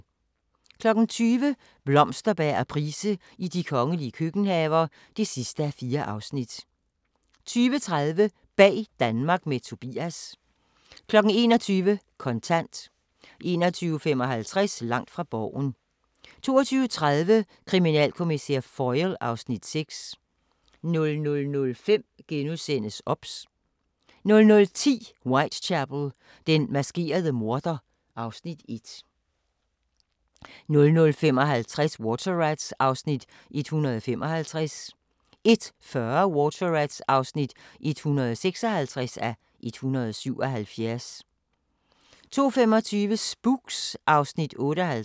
20:00: Blomsterberg og Price i de kongelige køkkenhaver (4:4) 20:30: Bag Danmark med Tobias 21:00: Kontant 21:55: Langt fra Borgen 22:30: Kriminalkommissær Foyle (Afs. 6) 00:05: OBS * 00:10: Whitechapel: Den maskerede morder (Afs. 1) 00:55: Water Rats (155:177) 01:40: Water Rats (156:177) 02:25: Spooks (Afs. 58)